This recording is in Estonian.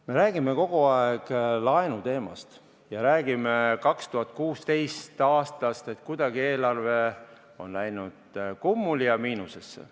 Me räägime kogu aeg laenuteemast ja räägime 2016. aastast, et kuidagi on eelarve läinud kummuli ja miinusesse.